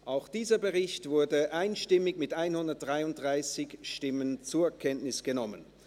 Auch dieser Bericht wurde einstimmig, mit 133 Ja- gegen 0 Nein-Stimmen bei 0 Enthaltungen, zur Kenntnis genommen.